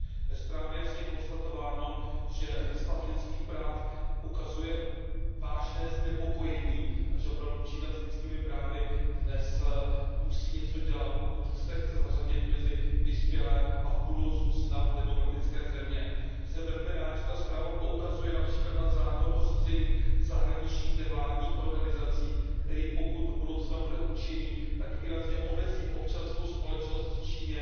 Ve zprávě je jasně konstatováno, že stav lidských práv ukazuje vážné znepokojení a že opravdu Čína s lidskými právy dnes musí něco dělat, pokud se chce zařadit mezi vyspělé a v budoucnu snad demokratické země. Jsem velmi rád, že zpráva poukazuje například na zákon o řízení zahraničních nevládních organizací, který, pokud bude do budoucna účinný, tak výrazně omezí občanskou společnost v Číně